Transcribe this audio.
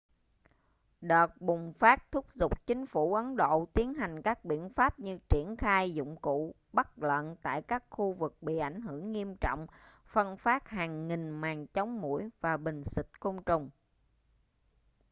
đợt bùng phát thúc giục chính phủ ấn độ tiến hành các biện pháp như triển khai dụng cụ bắt lợn tại các khu vực bị ảnh hưởng nghiêm trọng phân phát hàng nghìn màn chống muỗi và bình xịt côn trùng